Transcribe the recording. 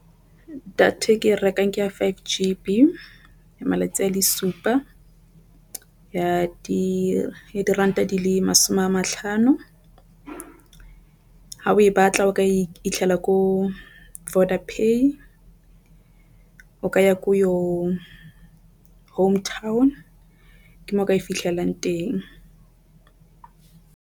Data e ke rekang ke ya five G malatsi a le supa ya diranta di le masome a matlhano. Ha o e batla o ka iphitlhela ko voda pay o ka ya ko yo home town ke mo o ka e fitlhelang teng.